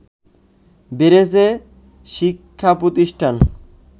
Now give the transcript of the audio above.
বেড়েছে শিক্ষা প্রতিষ্ঠান